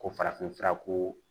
Ko farafin fura ko